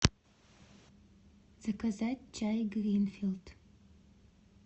заказать чай гринфилд